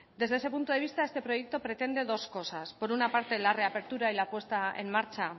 desde ese punto de vista este proyecto pretende dos cosas por una parte la reapertura y la puesta en marcha